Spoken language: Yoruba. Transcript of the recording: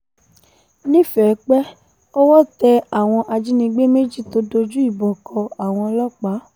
nífẹ̀ẹ́pẹ́ owó tẹ àwọn ajínigbé méjì tó dojú ìbọn kọ àwọn ọlọ́pàá